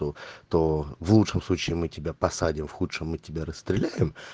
был то в лучшем случае мы тебя посадим в худшем мы тебя расстреляю